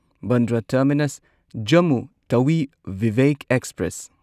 Bandra terminus Jammu Tawi Vivek express